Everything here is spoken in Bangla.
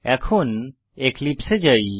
এখন এক্লিপসে এ যাই